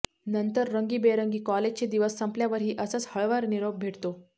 नंतर रंगीबेरंगी काॅलेजचे दिवस संपल्यावरही असाच हळवा निरोप भेटतो